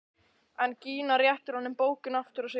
En Gína réttir honum bókina aftur og segir kalt: